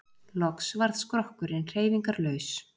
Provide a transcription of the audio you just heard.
Loks varð skrokkurinn hreyfingarlaus.